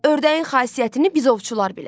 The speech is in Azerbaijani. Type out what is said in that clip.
Ördəyin xasiyyətini biz ovçular bilərik.